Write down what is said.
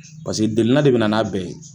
Paseke delina de bina n'a bɛɛ ye